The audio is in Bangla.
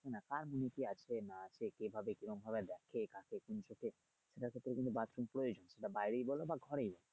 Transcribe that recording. না আর কি আছে না আছে কিভাবে কিরকমভাবে যাচ্ছে কাকে কোন দিকে এটার ক্ষেত্রে কিন্তু bathroom প্রয়োজন এটা বাইরেই বলো বা ঘরেই বলো